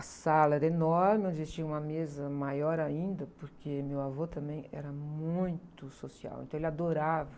A sala era enorme, onde tinha uma mesa maior ainda, porque meu avô também era muito social, então ele adorava...